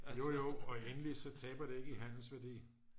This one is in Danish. jojo og endelig så taber det ikke i handelsværdi